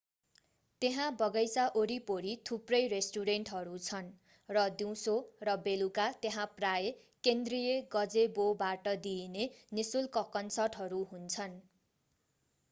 त्यहाँ बगैंचा वरिपरि थुप्रै रेस्टुरेन्टहरू छन् र दिउँसो र बेलुका त्यहाँ प्रायः केन्द्रीय गजेबोबाट दिइने निःशुल्क कन्सर्टहरू हुन्छन्